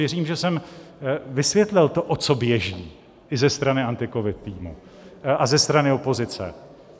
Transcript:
Věřím, že jsem vysvětlil to, o co běží i ze strany AntiCovid týmu a ze strany opozice.